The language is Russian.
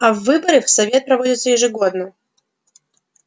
а выборы в совет проводятся ежегодно